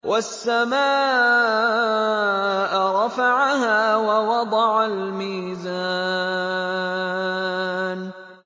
وَالسَّمَاءَ رَفَعَهَا وَوَضَعَ الْمِيزَانَ